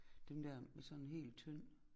Den der med sådan helt tynd